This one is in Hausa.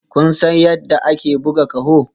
Kun san yadda ake buga ƙaho?